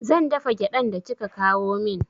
Zan dafa gyaɗan da kika kawo min